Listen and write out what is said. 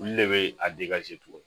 Olu de be a